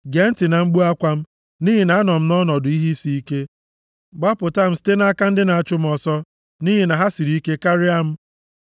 Gee ntị na mkpu akwa m, nʼihi na anọ m nʼọnọdụ ihe isiike; gbapụta m site nʼaka ndị na-achụ m ọsọ, nʼihi na ha siri ike karịa m.